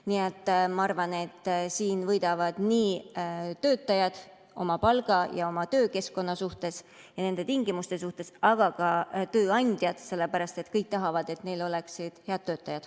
Nii et ma arvan, et siin võidavad nii töötajad oma palga ja töökeskkonna ja nende tingimuste suhtes, aga ka tööandjad, sellepärast et kõik tahavad, et neil oleksid head töötajad.